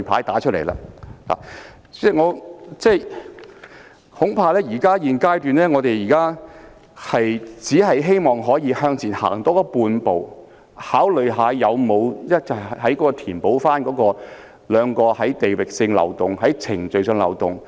代理主席，恐怕現階段我們只能希望向前踏出半步，考慮是否有辦法填補地域上和程序上的漏洞。